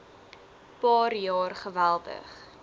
paar jaar geweldig